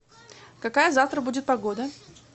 какая завтра будет погода